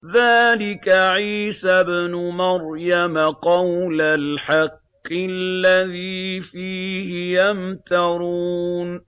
ذَٰلِكَ عِيسَى ابْنُ مَرْيَمَ ۚ قَوْلَ الْحَقِّ الَّذِي فِيهِ يَمْتَرُونَ